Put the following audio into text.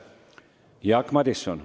Jaak Madison.